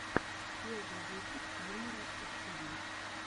первый выпуск юмора эстиви